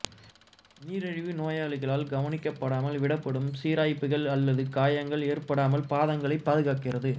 நீரிழிவு நோயாளிகளால் கவனிக்கப்படாமல் விடப்படும் சிராய்ப்புகள் அல்லது காயங்கள் ஏற்படாமல் பாதங்களைப் பாதுகாக்கிறது